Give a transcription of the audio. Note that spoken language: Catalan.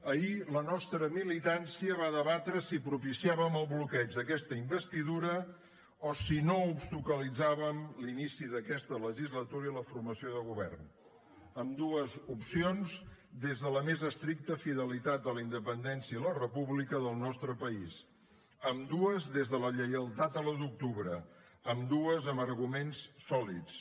ahir la nostra militància va debatre si propiciàvem el bloqueig d’aquesta investidura o si no obstaculitzàvem l’inici d’aquesta legislatura i la formació de govern ambdues opcions des de la més estricat fidelitat a la independència i la república del nostre país ambdues des de la lleialtat a l’un d’octubre ambdues amb arguments sòlids